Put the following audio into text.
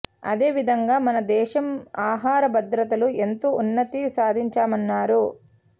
అదే విధంగా మన దేశం ఆహార భద్రతలు ఎంతో ఉన్నతి సాధించామన్నారు